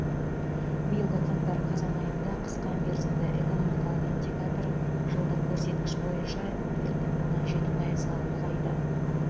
биылғы қаңтар қазан айында қысқа мерзімді экономикалық индикатор жылдық көрсеткіш бойынша төрт бүтін оннан жеті пайызға ұлғайды